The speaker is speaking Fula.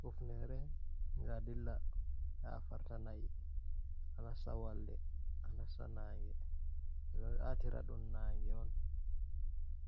Hufnere nga dilla afarta na'i a nasta walde, a nasta nange, ɓe ɗo latira ɗum nange on.